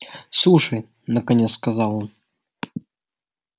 слушай наконец сказал он